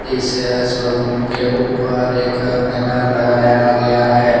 इस शोरूम के ऊपर एक बैनर लगाया गया है।